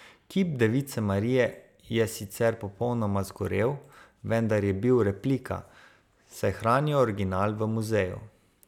Kip device Marije je sicer popolnoma zgorel, vendar je bil replika, saj hranijo original v muzeju.